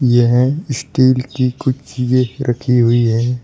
यह स्टील की कुछ चीजें रखी हुई है।